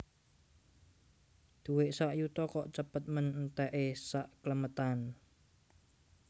Duwek sak yuta kok cepet men entek e sakklemetan